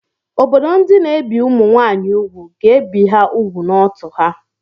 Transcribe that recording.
Obodo ndị na-ebi ụmụ nwaanyị úgwù ga-ebi ha ùgwù n'ọ́tụ̀ ha.